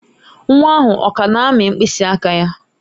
Nwa ahụ ọ ka na-amị mkpịsị aka ya?